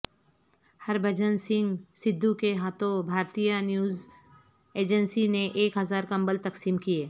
ہر بھجن سنگھ سدھو کے ہاتھوں Bharatiya News Agency نے ایک ہزار کمبل تقسیم کئے